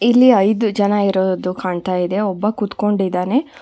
ಇಲ್ಲಿ ಐದು ಜನ ಇರೋದು ಕಾಣ್ತಾ ಇದೆ ಒಬ್ಬ ಕೂತ್ಕೊಂಡಿದ್ದಾನೆ.